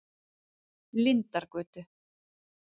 Lindargötu